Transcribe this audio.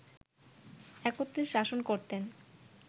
একত্রে শাসন করতেন